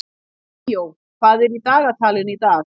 Ríó, hvað er í dagatalinu í dag?